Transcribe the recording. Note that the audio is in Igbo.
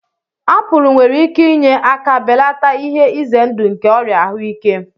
Apul nwere ike inye aka belata ihe ize ndụ nke ọrịa ahụike.